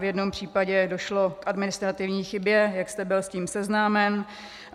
V jednom případě došlo k administrativní chybě, jak jste byl s tím seznámen.